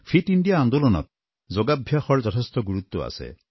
fit India আন্দোলনত যোগাভ্যাসৰ যথেষ্ট গুৰুত্ব আছে